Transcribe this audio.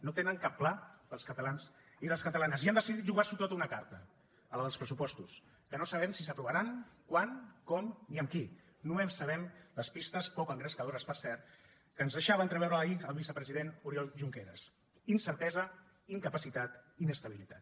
no tenen cap pla per als catalans i les catalanes i han decidit jugars’ho tot a una carta a la dels pressupostos que no sabem si s’aprovaran quan com ni amb qui només sabem les pistes poc engrescadores per cert que ens deixava entreveure ahir el vicepresident oriol junqueras incertesa incapacitat inestabilitat